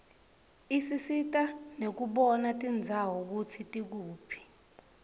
isisita nekubona tindzawo kutsi tikuphi